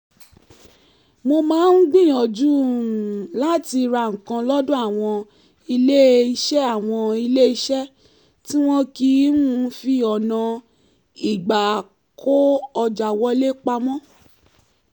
mo máa ń gbìyànjú um láti ra nǹkan lọ́dọ̀ àwọn ilé-eṣẹ́ àwọn ilé-eṣẹ́ tí wọn kì í um fi ọ̀nà ìgbà-kó-ọjà wọlé pamọ́